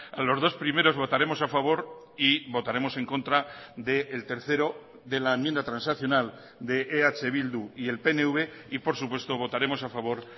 a los dos primeros votaremos a favor y votaremos en contra del tercero de la enmienda transaccional de eh bildu y el pnv y por supuesto votaremos a favor